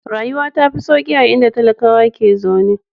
Rayuwa ta fi sauƙi a inda talakawa ke zaune.